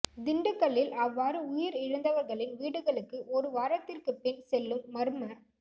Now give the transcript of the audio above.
திண்டுக்கல்லில் அவ்வாறு உயிர் இழந்தவர்களின் வீடுகளுக்கு ஒரு வாரத்திற்கு பின் செல்லும் மர்ம